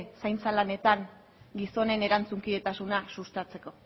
zaintza lanetan gizonen erantzunkidetasuna sustatzeko